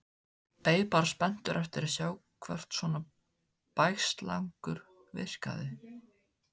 Beið bara spenntur eftir að sjá hvort svona bægslagangur virkaði.